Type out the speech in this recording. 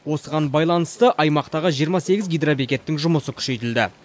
осыған байланысты аймақтағы жиырма сегіз гидробекеттің жұмысы күшейтілді